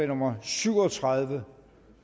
nummer syv og tredive